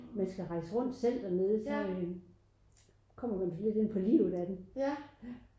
Man skal rejse rundt selv dernede så øh kommer man virkelig ind på livet af dem